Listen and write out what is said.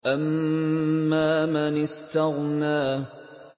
أَمَّا مَنِ اسْتَغْنَىٰ